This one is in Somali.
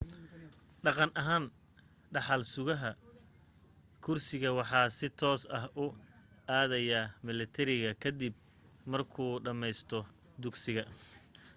dhaqan ahaan dhaxal sugah kursigu waxa si toos ah u aadaya milatariga ka dib markuu dhammaysto dugsiga